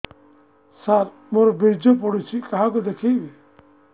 ସାର ମୋର ବୀର୍ଯ୍ୟ ପଢ଼ୁଛି କାହାକୁ ଦେଖେଇବି